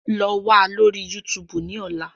Lọ wa lori YuTuubu ni ọla!